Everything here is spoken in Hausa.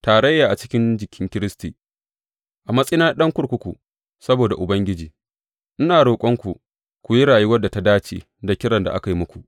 Tarayya a cikin jikin Kiristi A matsayina na ɗan kurkuku saboda Ubangiji, ina roƙonku ku yi rayuwar da ta dace da kiran da aka yi muku.